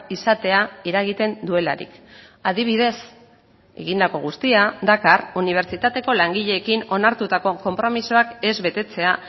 izatea eragiten duelarik adibidez egindako guztia dakar unibertsitateko langileekin onartutako konpromisoak ez betetzea